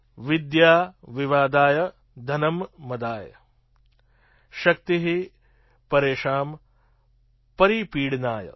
વિદ્યા વિવાદાય ધનં મદાય શક્તિ પરેષાં પરિપીડનાય